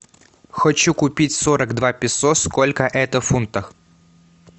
хочу купить сорок два песо сколько это в фунтах